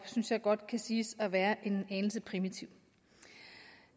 synes jeg godt kan siges at være en anelse primitiv